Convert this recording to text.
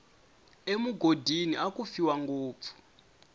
emugodini aku fiwa ngopfu